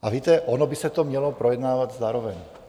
A víte, ono by se to mělo projednávat zároveň.